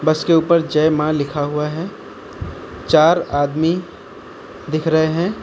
उसके ऊपर जय मां लिखा हुआ है चार आदमी दिख रहे हैं।